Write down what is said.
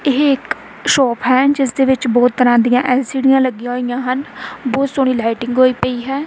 ਇਹ ਇੱਕ ਸ਼ੋਪ ਹੈ ਜਿਸ ਦੇ ਵਿੱਚ ਬਹੁਤ ਤਰ੍ਹਾਂ ਦੀਆਂ ਐਲ_ਸੀ_ਡੀਆਂ ਲੱਗੀਆਂ ਹੋਈਆਂ ਹਨ ਬਹੁਤ ਸੋਹਣੀ ਲਾਈਟਿੰਗ ਹੋਈ ਪਈ ਹੈ।